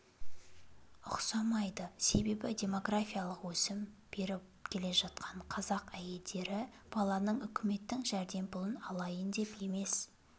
ұқсамайды себебі демографиялық өсім беріп келе жатқан қазақ әйелдері баланы үкіметтің жәрдемпұлын алайын деп емес